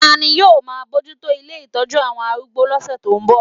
Ta ni yóò máa bójú tó ilé ìtọ́jú àwọn arúgbó lọ́sẹ̀ tó ń bọ̀?